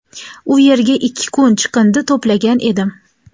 U yerga ikki kun chiqindi to‘plagan edim.